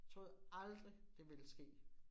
Troede aldrig, det ville ske